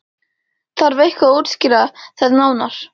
Þarf eitthvað að útskýra það nánar?